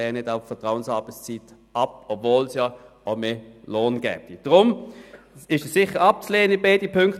Sie wollen arbeiten, dies aber relativ geregelt.